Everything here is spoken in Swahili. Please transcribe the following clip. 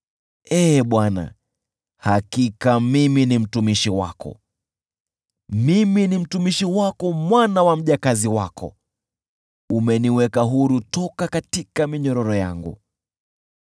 Ee Bwana , hakika mimi ni mtumishi wako, mimi ni mtumishi wako, mwana wa mjakazi wako; umeniweka huru toka katika minyororo yangu.